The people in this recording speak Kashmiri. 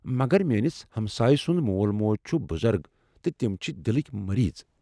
مگر میانِس ہمسایہِ سُنٛد مول موج چھ بُزرٕگ تہٕ تِم چھِ دِلٕکۍ مریض۔